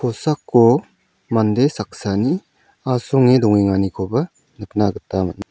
kosako mande saksani asonge dongenganikoba nikna gita man·a --